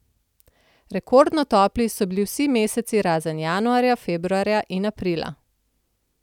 Rekordno topli so bili vsi meseci razen januarja, februarja in aprila.